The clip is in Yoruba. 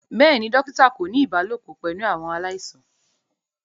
Bẹẹni, dokita ko ni ibalopọ pẹlu awọn alaisan.